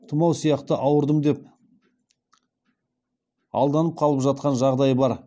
тұмау сияқты ауырдым деп алданып қалып жатқан жағдай бар